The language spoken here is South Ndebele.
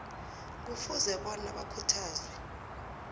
kufuze bona bakhuthazwe